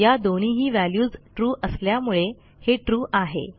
या दोन्हीही व्हॅल्यूज असल्यामुळे हे trueआहे